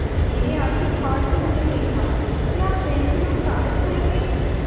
मैंने आँखें फाड़ कर उन्हें देखा क्या आप पेन्सिल और कागज़ खाएँगे